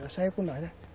Elas saíam com nós, né.